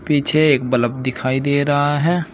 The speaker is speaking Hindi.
पीछे एक बलब दिखाई दे रहा है।